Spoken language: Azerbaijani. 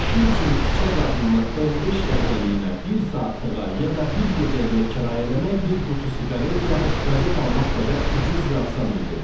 Kişi üçün küçə qadınını 15 dəqiqəliyinə, bir saatlığına, ya da bir gecəliyə kirayə eləmək bir qutu siqaret, yaxud qəzet almaq qədər ucuz və asan idi.